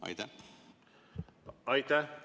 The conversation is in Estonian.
Aitäh!